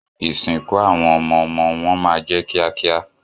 Ìsìnkú àwọn ọmọmọ wọn má jẹ kíákíá.